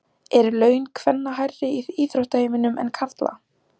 Eru laun kvenna hærri í íþróttaheiminum en karla?